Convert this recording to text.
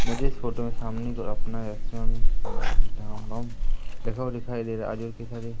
मुझे इस फोटो में सामने की ओर अपना रेस्टोरेंट लिखा हुआ दिखाई दे रहा है --